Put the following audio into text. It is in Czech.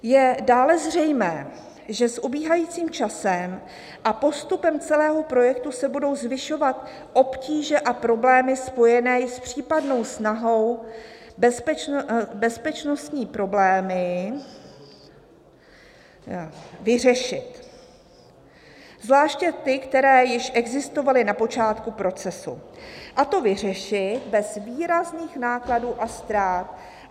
"Je dále zřejmé, že s ubíhajícím časem a postupem celého projektu se budou zvyšovat obtíže a problémy spojené s případnou snahou bezpečnostní problémy vyřešit, zvláště ty, které již existovaly na počátku procesu", a to vyřešit bez výrazných nákladů a ztrát.